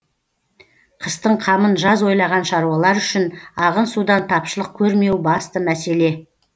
қыстың қамын жаз ойлаған шаруалар үшін ағын судан тапшылық көрмеу басты мәселе